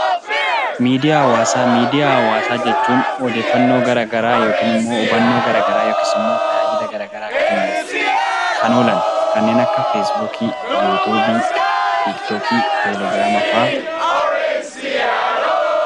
Miidiyaa hawaasaa jechuun odeeffannoo garaagaraa yookiin immoo hubannoo garaagaraa yookiis immoo tajaajila garaagaraa kennuuf kan oolan kanneen akka feesbuukii , yuutuubii, tiiktookii, telegiraama fa'aati.